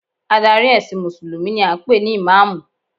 Adarí ẹ̀sìn mùsùlùmí ni a ń pè ní ìmáàmù